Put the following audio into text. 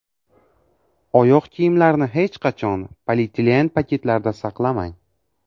Oyoq kiyimlarni hech qachon polietilen paketlarda saqlamang.